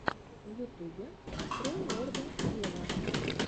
в ютубе открой лорда вево